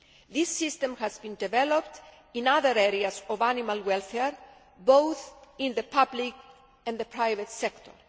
This system has been developed in other areas of animal welfare, both in the public and the private sector.